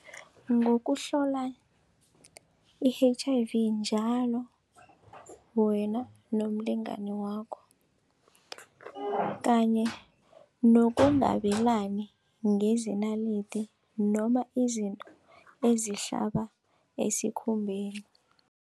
Ngokuhlola i-H_I_V njalo wena nomlingani wakho kanye nokungabelani ngezinalidi noma izinto ezihlaba esikhumbeni.